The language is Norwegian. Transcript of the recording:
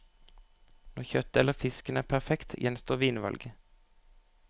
Når kjøttet eller fisken er perfekt, gjenstår vinvalget.